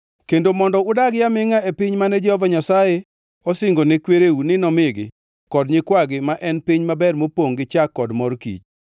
kendo mondo udagi amingʼa e piny mane Jehova Nyasaye osingo ne kwereu ni nomigi kod nyikwagi ma en piny maber mopongʼ gi chak kod mor kich.